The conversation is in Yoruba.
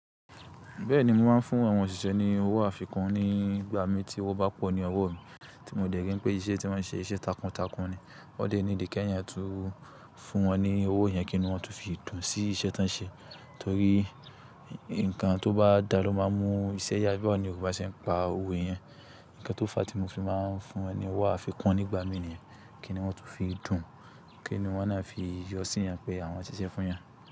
Bẹ́ẹ̀ni, mo máa ń fún àwọn òṣìṣẹ́ ní owó àfikún nígbà mi tí wọ́n bá pọ̀ ní ọwọ́ mi, tí mo dẹ̀ kí pé iṣẹ́ tí wọ́n ṣe iṣẹ́ takuntakun ni. Wọ́n dé needi kẹ́ yẹn tún fún wọn ní owó yẹn kíni wọ́n tó fi dùn sí iṣẹ́ tí wọ́n ṣe. Torí nǹkan tó bá dá ló máa ń mú iṣẹ́ yá, bí àwọn Yorùbá ṣe ń pa òwe yẹn. Ǹkan tó fàá tí mo fi máa ń fún ẹni owó àfikún nígbà mí níyẹn. Kíni wọ́n tó fi dùn, kíni wọ́n náà fi yọ sí i yẹn pé àwọn ṣiṣẹ́ fún eyan.